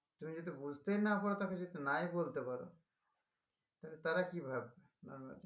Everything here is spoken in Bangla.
তুমি যদি বুঝতেই না পারো তাকে যদি নাই বলতে পারো তালে তারা কি ভাববে